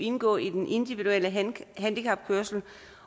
indgå i den individuelle handicapkørsel